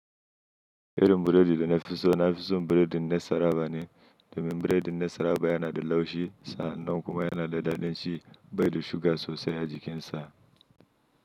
Irin burodi da na fi so na fi so burodi ne saraba ne domin burodi ne saraba yana da laushi sa nan kuma yana da daɗin ci bai da suga sosai a jikin sa.